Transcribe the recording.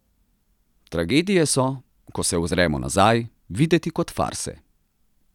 Tragedije so, ko se ozremo nazaj, videti kot farse.